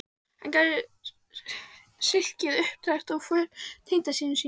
Hann gerði silkið upptækt og fól tengdasyni sínum